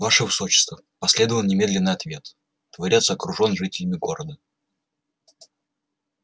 ваше высочество последовал немедленный ответ дворец окружён жителями города